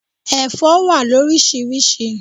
Ẹ̀fọ́ wà loríṣiríṣi.